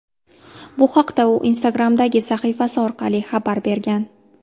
Bu haqda u Instagram’dagi sahifasi orqali xabar bergan .